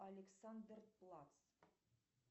александр платц